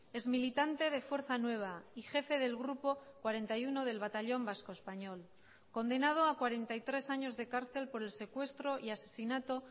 ex militante de fuerza nueva y jefe del grupo cuarenta y uno del batallón vasco español condenado a cuarenta y tres años de cárcel por el secuestro y asesinato